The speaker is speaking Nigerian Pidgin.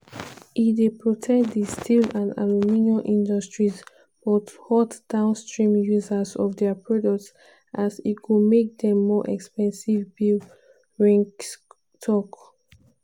"e dey protect [di steel and aluminium] industries but hurt downstream users of dia products as e go make dem more expensive" bill reinsch tok.